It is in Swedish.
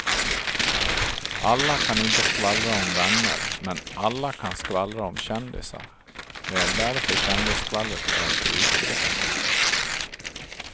Alla kan inte skvallra om vänner men alla kan skvallra om kändisar, det är därför kändisskvallret är så utbrett.